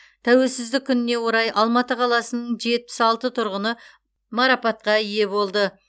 тәуелсіздік күніне орай алматы қаласының жетпіс алты тұрғыны марапатқа ие болды